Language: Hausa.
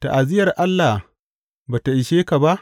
Ta’aziyyar Allah ba tă ishe ka ba.